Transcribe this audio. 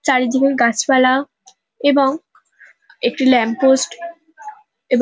চারিদিকে ওই গাছপালা এবং একটি ল্যাম্পপোস্ট এব --